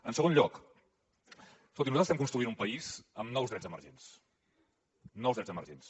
en segon lloc escoltin nosaltres estem construint un país amb nous drets emergents nous drets emergents